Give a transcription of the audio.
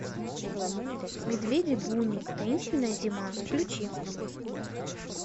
медведи буни таинственная зима включи